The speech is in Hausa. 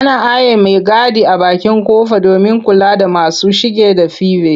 Ana aiye maigadi a bakin ƙofa domin kula da masu shige da five.